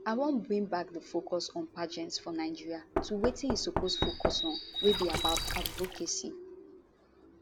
i wan bring back di focus on pageants for nigeria to wetin e suppose focus on wey be about advocacy